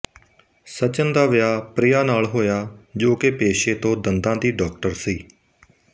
ਸਚਿਨ ਦਾ ਵਿਆਹ ਪ੍ਰਿਆ ਨਾਲ ਹੋਇਆ ਜੋ ਕੇ ਪੇਸ਼ੇ ਤੋਂ ਦੰਦਾਂ ਦੀ ਡਾੱਕਟਰ ਸੀ